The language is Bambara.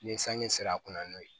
Ni sanji sera a kunna n'o ye